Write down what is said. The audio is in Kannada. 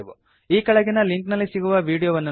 ಈ ಕೆಳಗಿನ ಲಿಂಕ್ ನಲ್ಲಿ ಸಿಗುವ ವಿಡೀಯೋವನ್ನು ನೋಡಿ